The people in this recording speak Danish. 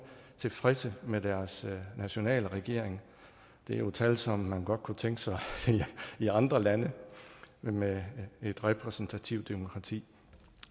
tilfredse med deres nationale regering det er jo tal som man godt kunne tænke sig i andre lande med et repræsentativt demokrati